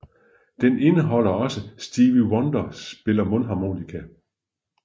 Den indeholder også Stevie Wonder spiller mundharmonika